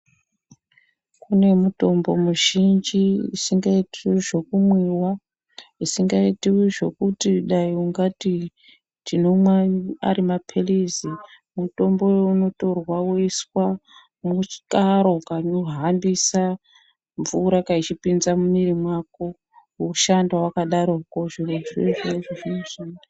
Kune mutombo muzhinji isngaitiwi zvokumwiwa, isingaitiwi zvokuti dai ungatu tinomwa ari maphilizi, mutombo iwowo unotorwa woiswa mukaro kanohambisa mvura kachipinza mumwiri mako woshanda wakadaroko. Zvirozvo izvozvo zvino.